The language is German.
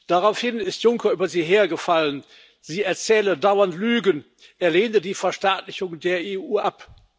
Daraufhin ist Juncker über sie hergefallen, sie erzähle dauernd Lügen, er lehne die Verstaatlichung der EU ab.